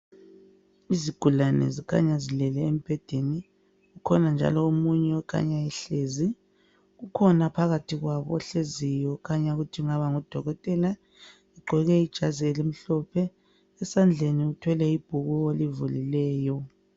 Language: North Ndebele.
Izigulane zikhanya zilele embhedeni. ukhona njalo omunye okhanya ehlezi. ukhona phakathi kwabo ohleziyo okhanya ukuthi angaba ngudokotela. Ugqoke ijazi elimhlophe. Esandleni uthwele ibhuku olivulileyo.